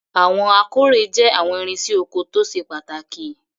Awọn akore jẹ awọn irinse oko to sepataki